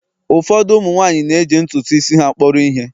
Ụfọdụ umu nwanyi na-eji ntutu isi ha kpọrọ ihe